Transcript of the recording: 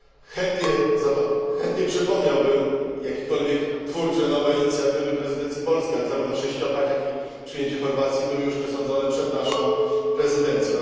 Chętnie przypomniałbym jakiekolwiek twórcze, nowe inicjatywy prezydencji polskiej, ale zarówno sześciopak, jak i przyjęcie Chorwacji były już przesądzone przed naszą prezydencją.